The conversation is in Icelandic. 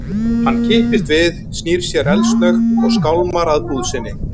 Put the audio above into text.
Hann kippist við, snýr sér eldsnöggt og skálmar að búð sinni.